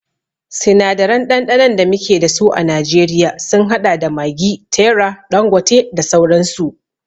Sinadaran ɗanɗanon da muke dasu a najeriya sun haɗa da maggi, terra, ɗangote da dai sauransu